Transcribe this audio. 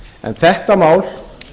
en þetta mál